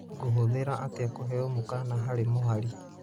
ngũhũthira atĩa kũheo mũkana harĩ mũhari